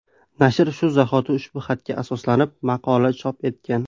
Nashr shu zahoti ushbu xatga asoslanib maqola chop etgan.